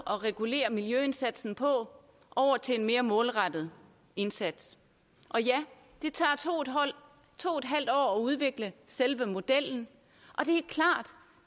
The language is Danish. at regulere miljøindsatsen på over til en mere målrettet indsats og ja det tager to en halv år at udvikle selve modellen og det